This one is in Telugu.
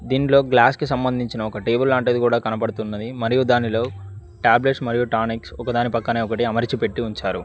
దీంట్లో గ్లాస్ కి సంబంధించిన ఒక టేబుల్ లాంటిది కూడా కనబడుతున్నది మరియు దానిలో టాబ్లెట్స్ మరియు టానిక్ ఒకదాని పక్కన ఒకటి అమర్చి పెట్టి ఉంచారు.